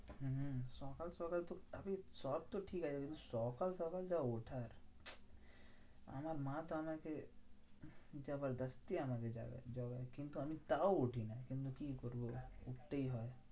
হুঁ সকাল সকাল তো সব তো ঠিক আছে, কিন্তু সকাল সকাল যা ওঠা আরকি আমার মা তো আমাকে আমাকে জাগায়। কিন্তু আমি তাও উঠি না, কিন্তু কি করবো? উঠতেই হয়।